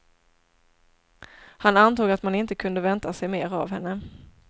Han antog att man inte kunde vänta sig mer av henne.